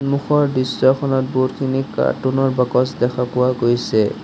সন্মুখৰ দৃশ্যখনত বহুতখিনি কাৰ্টুন ৰ বাকচ দেখা পোৱা গৈছে।